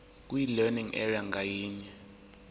kwilearning area ngayinye